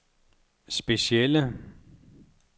specielle